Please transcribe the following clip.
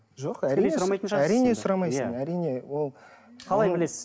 жоқ әрине әрине сұрамайсың әрине ол қалай білесіз